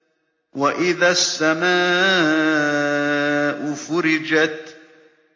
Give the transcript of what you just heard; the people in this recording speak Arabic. وَإِذَا السَّمَاءُ فُرِجَتْ